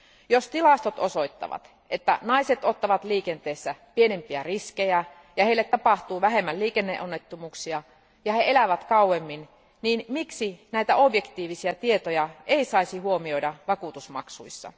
Jos tilastot osoittavat, että naiset ottavat liikenteessä pienempiä riskejä ja heille tapahtuu vähemmän liikenneonnettomuuksia ja he elävät kauemmin, niin miksi näitä objektiivisia tietoja ei saisi huomioida vakuutusmaksuissa?